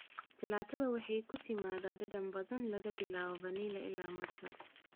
Jalaatada waxay ku timaadaa dhadhan badan, laga bilaabo vanilj ilaa matcha.